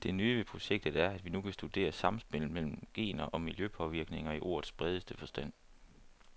Det nye ved projektet er, at vi nu kan studere samspillet mellem gener og miljøpåvirkninger i ordets bredeste forstand.